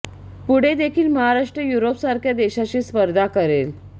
पुढे देखील महाराष्ट्र युरोप सारख्या देशाशी स्पर्धा करेल